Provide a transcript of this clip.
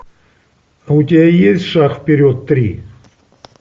а у тебя есть шаг вперед три